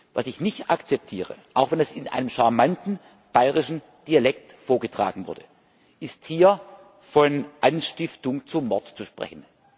Was ich nicht akzeptiere, auch wenn es in einem charmanten bayerischen Dialekt vorgetragen wurde, ist, hier von Anstiftung zum Mord zu sprechen.